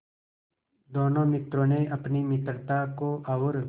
दोनों मित्रों ने अपनी मित्रता को और